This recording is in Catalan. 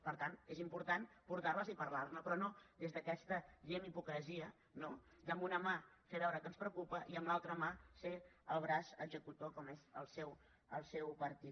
per tant és important portar les i parlar ne però no des d’aquesta diguem ne hipocresia no de amb una mà fer veure que ens preocupa i amb l’altra mà ser el braç executor com ho és el seu partit